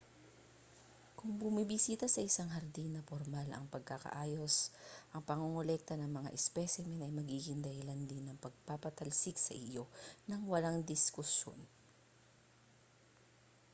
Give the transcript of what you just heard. kung bumibisita sa isang hardin na pormal ang pagkakaayos ang pangongolekta ng mga ispesimen ay magiging dahilan din ng pagpapatalsik sa iyo nang walang diskusyon